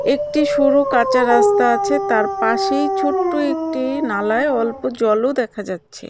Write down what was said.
একটি শুরু কাঁচা রাস্তা আছে তার পাশেই ছোট্ট একটি নালায় অল্প জলও দেখা যাচ্ছে .]